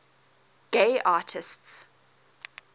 gay artists